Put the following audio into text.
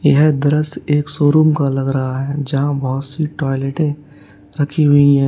यह दृश्य एक शोरूम का लग रहा है जहां बहोत सी टॉयलेटे रखी हुई हैं।